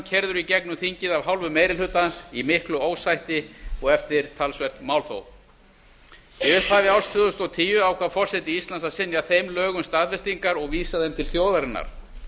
keyrður í gegnum þingið af hálfu meiri hluta í miklu ósætti og eftir talsvert málþóf í upphafi árs tvö þúsund og tíu ákvað forseti íslands að synja þeim lögum staðfestingar og vísa þeim til þjóðarinnar